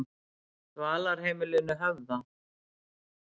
Dvalarheimilinu Höfða